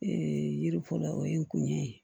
Ee yiri fɔlɔ o ye n kun ye